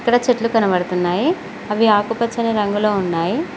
ఇక్కడ చెట్లు కనబడుతున్నాయి అవి ఆకుపచ్చని రంగులో ఉన్నాయి